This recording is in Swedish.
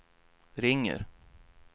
ringer